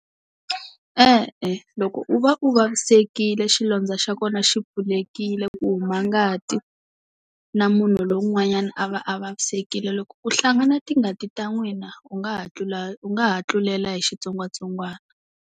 E-e loko u va u vavisekile xilondza xa kona xi pfulekile ku huma ngati na munhu lowun'wanyana a va a vavisekile loko ku hlangana tingati ta n'wina u nga ha tlula u nga ha tlulela hi xitsongwatsongwana.